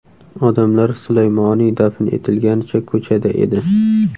Odamlar Sulaymoniy dafn etilganicha ko‘chada edi.